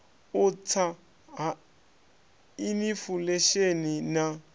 u tsa ha inifulesheni na